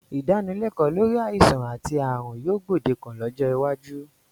Ìdánilẹ́kọ̀ọ́ lórí àìsàn àti ààrùn yóò gbòdekan lọ́jọ́ iwájú